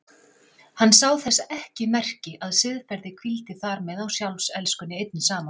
Hann sá þess ekki merki að siðferði hvíldi þar með á sjálfselskunni einni saman.